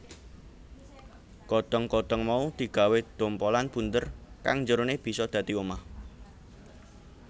Godhong godhong mau digawé dhompolan bunder kang njerone bisa dadi omah